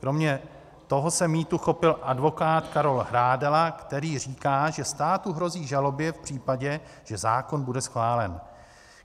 Kromě toho se mýtu chopil advokát Karol Hrádela, který říká, že státu hrozí žaloby v případě, že zákon bude schválen.